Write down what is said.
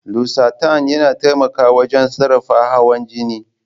Losartan yana taimakawa wajen sarrafa hawan jini.